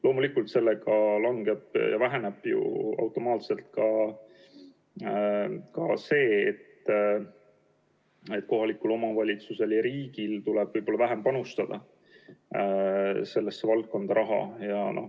Loomulikult väheneb sellega ju automaatselt ka kohaliku omavalitsuse ja riigi panus sellesse valdkonda.